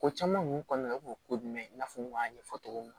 Ko caman kun kɔnɔna o ko jumɛn i n'a fɔ n y'a ɲɛfɔ cogo min na